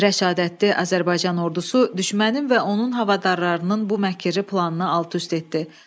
Rəşadətli Azərbaycan ordusu düşmənin və onun havadarlarının bu məkirli planını alt-üst etdi.